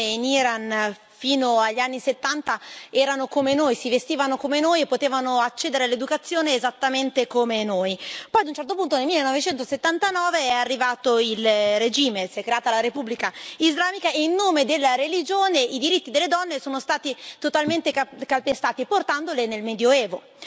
Signor Presidente, onorevoli colleghi, forse non tutti sanno che le donne in Iran, fino agli anni '70, erano come noi, si vestivano come noi e potevano accedere all'educazione esattamente come noi. Poi a un certo punto, nel 1979, è arrivato il regime, si è creata la Repubblica islamica e, in nome della religione, i diritti delle donne sono stati totalmente calpestati, portandole nel Medioevo.